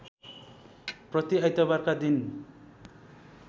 प्रति आइतबारका दिन